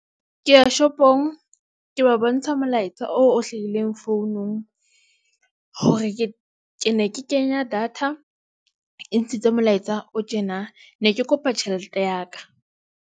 Ke ya shopong ke ba bontsha molaetsa oo o hlahileng founung. Hore ke ne ke kenya data e ntshitse molaetsa o tjena ne ke kopa tjhelete ya ka.